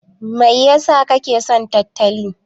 Mai ya sa kake son tantali?